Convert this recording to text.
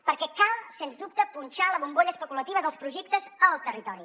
perquè cal sens dubte punxar la bombolla especulativa dels projectes al territori